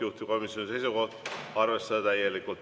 Juhtivkomisjoni seisukoht on arvestada täielikult.